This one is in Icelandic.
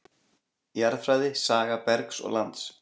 Jarðfræði Saga bergs og lands.